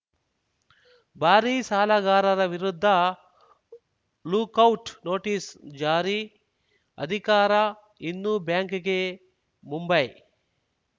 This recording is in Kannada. ಭಾರೀ ಸಾಲಗಾರರ ವಿರುದ್ಧ ಲುಕೌಟ್‌ ನೋಟಿಸ್‌ ಜಾರಿ ಅಧಿಕಾರ ಇನ್ನು ಬ್ಯಾಂಕ್‌ಗೆ ಮುಂಬೈ